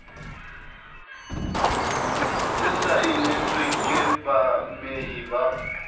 se saenetswe ke baamehi ba